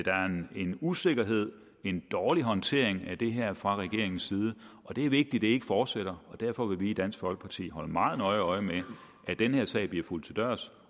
en usikkerhed en dårlig håndtering af det her fra regeringens side og det er vigtigt ikke fortsætter derfor vil vi i dansk folkeparti holde meget nøje øje med at den her sag bliver fulgt til dørs